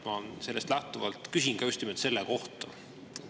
Ma sellest lähtuvalt küsin just nimelt selle kohta.